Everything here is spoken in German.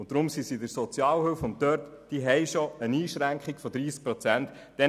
Deshalb sind sie bei der Sozialhilfe und haben bereits eine Einschränkung von 30 Prozent.